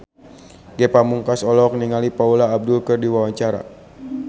Ge Pamungkas olohok ningali Paula Abdul keur diwawancara